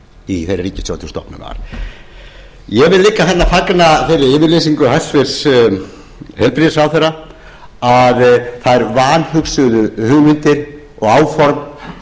í þeirri ríkisstjórn sem stofnuð var ég fagna líka þeirri yfirlýsingu hæstvirts heilbrigðisráðherra að þær vanhugsuðu hugmyndir og áform